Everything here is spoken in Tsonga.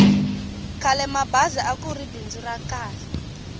khalemabazi akuri bindzu ra kahl